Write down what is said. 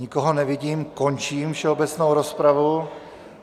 Nikoho nevidím, končím všeobecnou rozpravu.